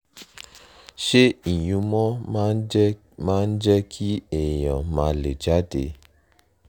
ṣé ìyúnmọ́ máa ń jẹ́ máa ń jẹ́ kí èèyàn má lè jáde?